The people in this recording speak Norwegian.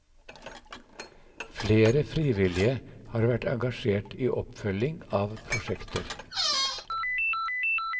Flere frivillige har vært engasjert i oppfølging av prosjekter.